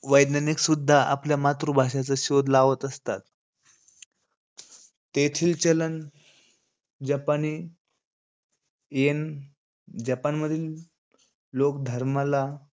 वैज्ञानिक सुद्धा आपल्या मातृभाषेचा शोध लावत असतात. तेथील चलन जपानी येन. जपानमधील लोक धर्माला,